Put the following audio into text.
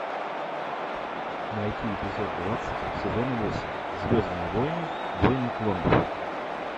найти эпизод двадцать сезона восемь звездные войны войны клонов